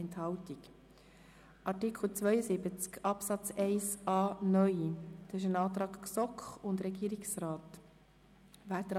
Zu Artikel 72 Absatz 1a (neu) liegt ein Antrag GSoK und Regierungsrat vor.